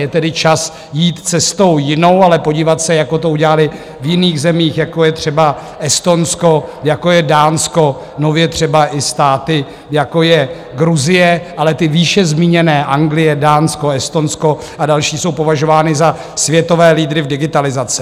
Je tedy čas jít cestou jinou, ale podívat se, jak to udělali v jiných zemích, jako je třeba Estonsko, jako je Dánsko, nově třeba i státy, jako je Gruzie, ale ty výše zmíněné - Anglie, Dánsko, Estonsko a další - jsou považovány za světové lídry v digitalizaci.